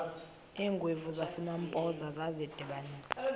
iingwevu zasempoza zadibanisana